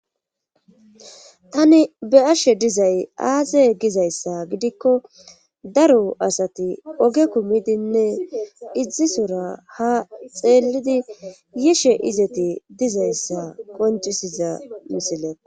tani be ashe dizay aaze gizayssa gidikko daro asati oge kumidinne izisora ha xeellidi yishe izeti dizayssa qoncisiza misileo